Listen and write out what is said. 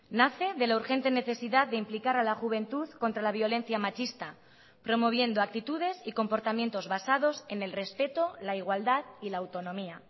nace de la urgente necesidad de implicar a la juventud contra la violencia machista promoviendo actitudes y comportamientos basados en el respeto la igualdad y la autonomía